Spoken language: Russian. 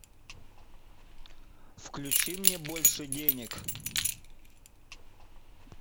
включи мне больше денег